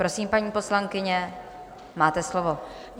Prosím, paní poslankyně, máte slovo.